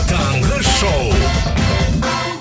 таңғы шоу